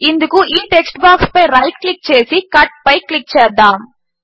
ఇందుకు ఈ టెక్స్ట్ బాక్స్పై రైట్ క్లిక్ చేసి కట్ పై క్లిక్ చేద్దాము